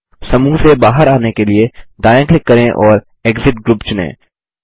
समूह से बाहर आने के लिए दायाँ क्लिक करें और एक्सिट ग्रुप चुनें